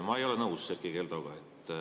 Ma ei ole nõus Erkki Keldoga.